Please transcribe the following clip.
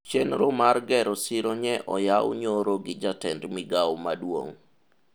chenro mar gero siro nye oyaw nyoro gi jatend migawo maduong'